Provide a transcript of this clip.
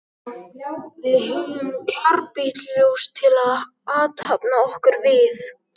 Við höfðum karbítljós til að athafna okkur við.